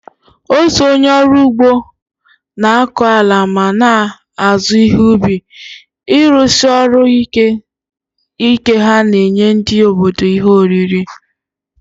Otu onye ọrụ ugbo na-akọ ala ma na-azụ ihe ubi, ịrụsi ọrụ ike ha na-enye ndị obodo ihe oriri.